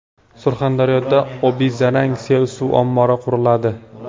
Surxondaryoda Obizarang sel suv ombori quriladi.